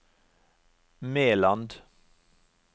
Meland